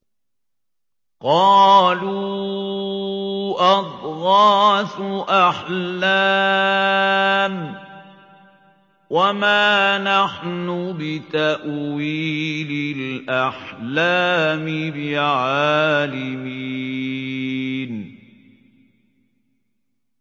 قَالُوا أَضْغَاثُ أَحْلَامٍ ۖ وَمَا نَحْنُ بِتَأْوِيلِ الْأَحْلَامِ بِعَالِمِينَ